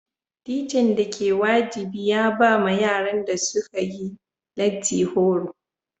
Tican da ke wajibi ya ba ma yaran da sun yi lati horo.